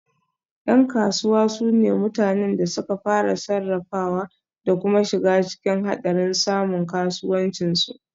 Yan kasuwa su ne mutanen da suka fara, sarrafawa da kuma shiga cikin hadarin samun kasuwancin su